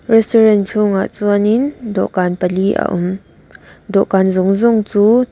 restaurant chhungah chuan in dawhkan pali a awm dawhkan zawng zawng chu--